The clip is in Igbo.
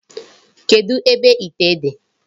Kedụ ebe ite dị?